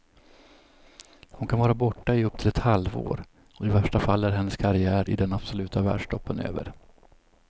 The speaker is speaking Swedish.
Hon kan vara borta i upp till ett halvår, och i värsta fall är hennes karriär i den absoluta världstoppen över.